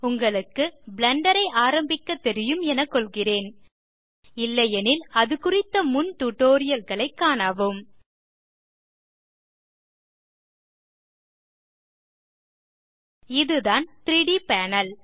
உங்களுக்கு பிளெண்டர் ஐ ஆரம்பிக்க தெரியும் என கொள்கிறேன் இல்லையெனில் அதுகுறித்த முன் டியூட்டோரியல் களைக் காணவும் இதுதான் 3ட் பேனல்